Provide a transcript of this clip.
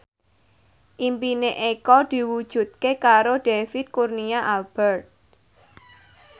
impine Eko diwujudke karo David Kurnia Albert